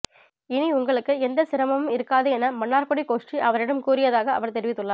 இனி உங்களுக்கு எந்த சிரமமும் இருக்காது என மன்னார்குடி கோஷ்டி அவரிடம் கூறியதாக அவர் தெரிவித்துள்ளார்